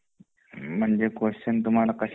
म्हणजे क्वेस्चन तुमहाला कशा विषयी